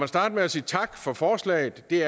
starte med at sige tak for forslaget det